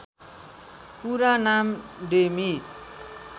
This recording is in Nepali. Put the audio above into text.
पूरा नाम डेमी